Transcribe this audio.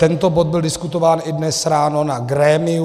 Tento bod byl diskutován i dnes ráno na grémiu.